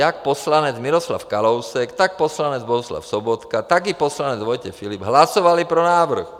Jak poslanec Miroslav Kalousek, tak poslanec Bohuslav Sobotka, tak i poslanec Vojtěch Filip hlasovali pro návrh.